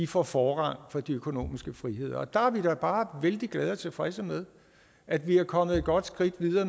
får forrang for de økonomiske friheder og der er vi da bare vældig glade for og tilfredse med at vi er kommet et godt skridt videre